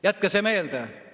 Jätke see meelde!